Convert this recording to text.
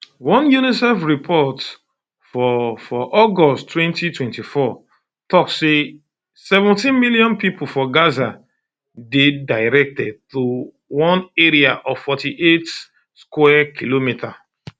one unicef report um for um for august 2024 tok say seventeenmillion pipo for gaza dey um directed to one area of 48 square kilometres